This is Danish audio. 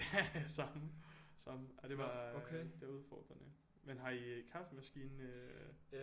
Haha samme samme ej det var det var udfordrende men har I kaffemaskine øh